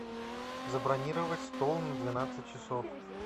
забронировать стол на двенадцать часов